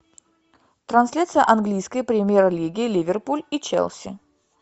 трансляция английской премьер лиги ливерпуль и челси